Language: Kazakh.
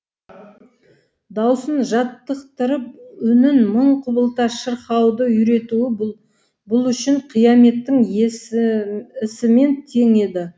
даусын жаттықтырып үнін мың құбылта шырқауды үйретуі бұл үшін қияметтің ісімен тең еді